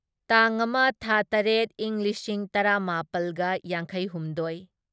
ꯇꯥꯡ ꯑꯃ ꯊꯥ ꯇꯔꯦꯠ ꯢꯪ ꯂꯤꯁꯤꯡ ꯇꯔꯥꯃꯥꯄꯜꯒ ꯌꯥꯡꯈꯩꯍꯨꯝꯗꯣꯢ